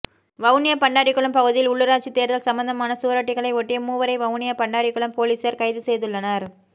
வவுனியா பண்டாரிக்குளம் பகுதியில் உள்ளூராட்சி தேர்தல் சம்பந்தமான சுவரொட்டிகளை ஒட்டிய மூவரை வவுனியா பண்டாரிக்குளம் பொலிஸார் கைது செய்துள்ளனர்